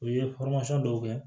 U ye dɔw kɛ